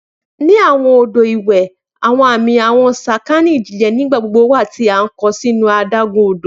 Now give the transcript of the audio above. Ni awọn odo iwe, awọn ami awọn sakani ijinle. Nigbagbogbo wa ti a kọ sinu adagun-odo